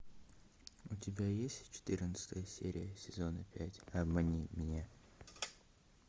у тебя есть четырнадцатая серия сезона пять обмани меня